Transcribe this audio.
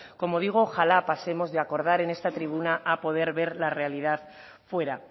como digo ojalá pasemos de acordar en esta tribuna a poder ver la realidad fuera